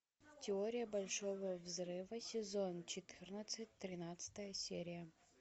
теория большого взрыва сезон четырнадцать тринадцатая серия